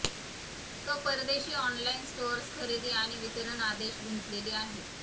तो परदेशी online stores खरेदी आणि वितरण आदेश गुंतलेली आहे